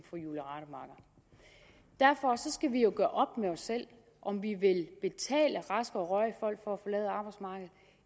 derfor skal vi jo gøre med os selv om vi vil betale raske og rørige folk for at forlade arbejdsmarkedet